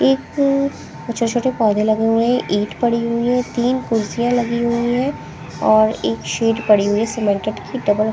एक छोटे-छोटे पौधे लगे हुए हैं ईट पड़ी हुई हैं तीन र्र्कर्सियां लगी हुई हैं और एक शेड पड़ी हुई हैं सिमेंटेड की --